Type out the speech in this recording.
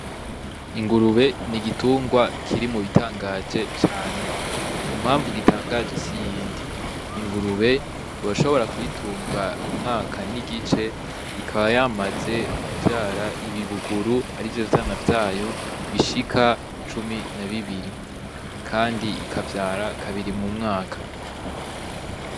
Ingurube ni igitungwa kiri mu bitangaje cane impamvu gitangaje si yindi ingurube urashobora kuyitunga umwaka n'igice ikaba yamaze kuvyara ibibuguru ari vyo vyana vyayo bishika cumi na bibiri, kandi ikavyara kabiri mu mwaka.